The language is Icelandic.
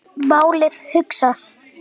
Málið hugsað.